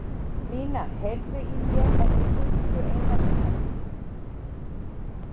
Lína, heyrðu í mér eftir fimmtíu og eina mínútur.